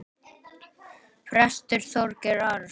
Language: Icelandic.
Prestur Þorgeir Arason.